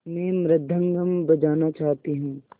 मैं मृदंगम बजाना चाहती हूँ